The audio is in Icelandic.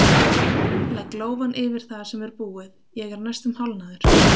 Legg lófann yfir það sem er búið, ég er næstum hálfnaður!